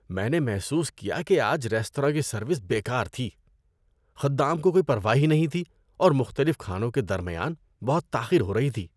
میں نے محسوس کیا کہ آج ریستوراں کی سروس بے کار تھی۔ خدام کو کوئی پرواہ ہی نہیں تھی اور مختلف کھانوں کے درمیان بہت تاخیر ہو رہی تھی۔